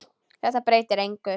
Þetta breytir engu.